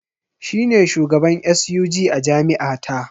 Shi ne shugaban SUG a jami’a ta.